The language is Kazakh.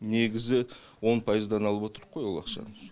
негізі он пайыздан алып отырмыз ғой ол ақшаны